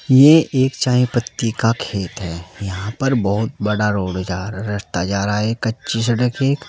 ये एक चाय पत्ती का खेत है। यहां पर बहुत बड़ा रोड जार रस्ता जा रहा है। ये कच्ची सड़क एक --